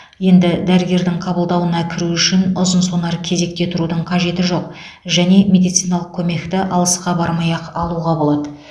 енді дәрігердің қабылдауына кіру үшін ұзын сонар кезекте тұрудың қажеті жоқ және медициналық көмекті алысқа бармай ақ алуға болады